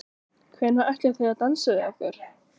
Hvenær ætlið þið að dansa við okkur?